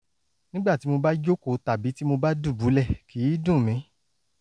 nígbà tí mo bá jókòó tàbí tí mo bá dùbúlẹ̀ kì í dùn mí